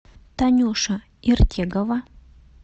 танюша иртегова